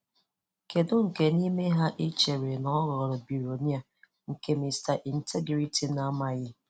Kedu nke n'ime ha ị n'ime ha ị chere na ọ ghọrọ billionaires, nke Mr. Integrity amaghị?